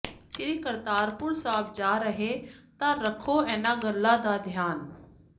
ਸ੍ਰੀ ਕਰਤਾਰਪੁਰ ਸਾਹਿਬ ਜਾ ਰਹੇ ਤਾਂ ਰੱਖੋ ਇਨ੍ਹਾਂ ਗੱਲਾਂ ਦਾ ਧਿਆਨ